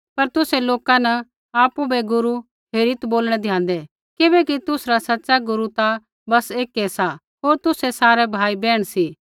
पर तुसै लोका न आपु बै गुरू हेरीत् बोलणै दयाँदै किबैकि तुसरा सच़ा गुरू ता बस एकै सा होर तुसै सारै भाईबैहण सी